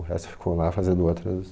O resto ficou lá fazendo outras...